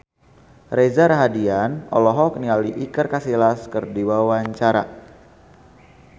Reza Rahardian olohok ningali Iker Casillas keur diwawancara